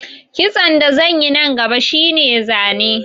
Kitson da zan yi nan gaba shi ne zane